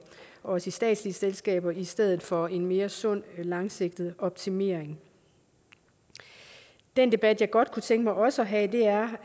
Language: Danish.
og også i statslige selskaber i stedet for en mere sund langsigtet optimering den debat jeg godt kunne tænke mig også at have er